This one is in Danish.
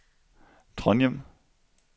Trondhjem